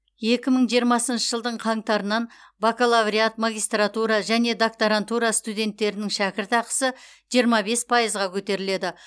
екі мың жиырмасыншы жылдың қаңтарынан бакалавриат магистратура және докторантура студенттерінің шәкіртақысы жиырма бес пайызға көтеріледі